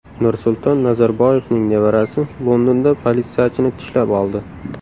Nursulton Nazarboyevning nevarasi Londonda politsiyachini tishlab oldi.